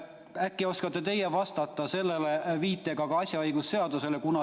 Äkki oskate teie sellele vastata, viidates ka asjaõigusseadusele.